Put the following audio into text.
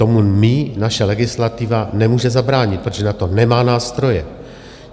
Tomu my, naše legislativa nemůže zabránit, protože na to nemá nástroje.